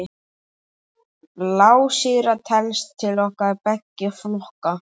Blásýra telst til beggja flokka.